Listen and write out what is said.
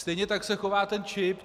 Stejně tak se chová ten čip.